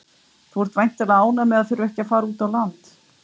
Þú ert væntanlega ánægður með að þurfa ekki að fara út á land?